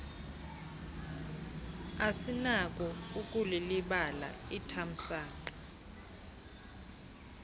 asinako ukulilibala ithamsanqa